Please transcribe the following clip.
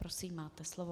Prosím, máte slovo.